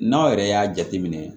N'aw yɛrɛ y'a jateminɛ